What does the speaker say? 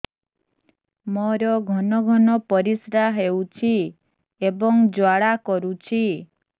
ମୋର ଘନ ଘନ ପରିଶ୍ରା ହେଉଛି ଏବଂ ଜ୍ୱାଳା କରୁଛି